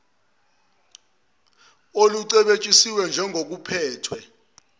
olucebitshisiwe njengo kuphethwe